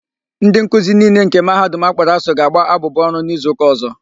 Ndị nkuzi niile nke Mahadum akpọrọ ASUU ga-agba abụbụ ọrụ na izuụka ọ̀zọ́.